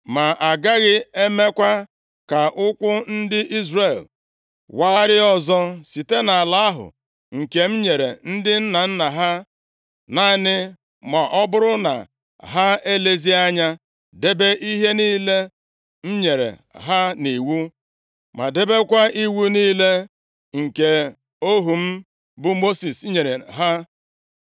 Ma agaghị emekwa ka ụkwụ ndị Izrel wagharịa ọzọ site nʼala ahụ nke m nyere ndị nna nna ha, naanị ma ọ bụrụ na ha elezie anya debe ihe niile m nyere ha nʼiwu ma debekwa iwu niile nke ohu m bụ Mosis nyere ha.”